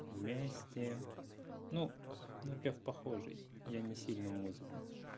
вместе ну напев похожий я не сильно музыку